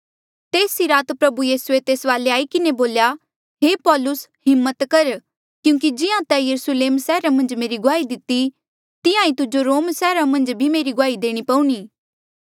तेस ई रात प्रभु यीसूए तेस वाले आई किन्हें बोल्या हे पौलुस हिम्मत कर क्यूंकि जिहां तैं यरुस्लेम सैहरा मन्झ मेरी गुआही दिती तिहां ईं तुजो रोम सैहरा मन्झ भी गुआही देणी पऊणी